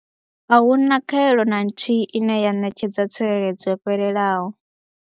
A hu na khaelo na nthihi ine ya ṋetshedza tsireledzo yo fhelelaho.